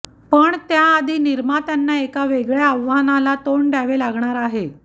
पण त्याआधी निर्मात्यांना एका वेगळ्या आव्हानाला तोंड द्यावे लागणार आहे